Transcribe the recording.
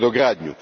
brodogradnju.